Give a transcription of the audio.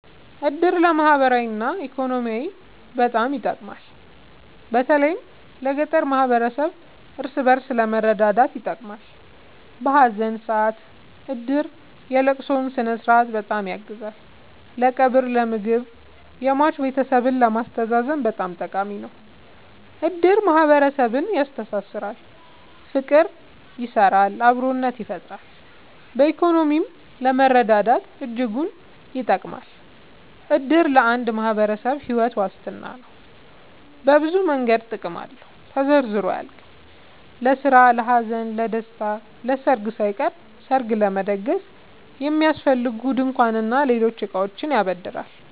እድር ለማህበራዊ እና ኢኮኖሚያዊ በጣም ይጠቅማል። በተለይ ለገጠር ማህበረሰብ እርስ በእርስ ለመረዳዳት ይጠቅማል። በሀዘን ሰአት እድር የለቅሶውን ስነስርዓት በጣም ያግዛል ለቀብር ለምግብ የሟች ቤተሰብን ለማስተዛዘን በጣም ጠቃሚ ነው። እድር ማህረሰብን ያስተሳስራል። ፍቅር ይሰራል አብሮነትን ይፈጥራል። በኢኮኖሚም ለመረዳዳት እጅጉን ይጠብማል። እድር ለአንድ ማህበረሰብ ሒወት ዋስትና ነው። በብዙ መንገድ ጥቅም አለው ተዘርዝሮ አያልቅም። ለስራ ለሀዘን ለደሰታ። ለሰርግ ሳይቀር ሰርግ ለመደገስ የሚያስፈልጉ ድንኳን እና ሌሎች እቃዎችን ያበድራል